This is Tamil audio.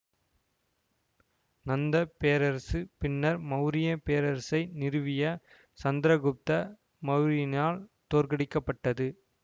நந்த பேரரசு பின்னர் மௌரிய பேரரசை நிறுவிய சந்திரகுப்த மௌரியனால் தோற்கடிக்கப்பட்டது